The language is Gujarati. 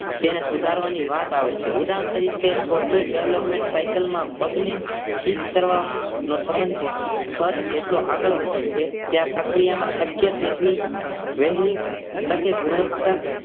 તેને સુધારવાની વાત આવે છે ઉદાહરણ તરીકે Software developing ની સાઇકલમાં બગને ઠીક કરવા નો સંબંધ ખર્ચ જેટલો આગળ વધે છે તે આ પ્રક્રિયામાં શક્ય તેટલી વહેલી તકે ગુણવત્તા